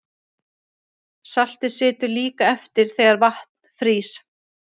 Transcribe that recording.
Saltið situr líka eftir þegar vatn frýs.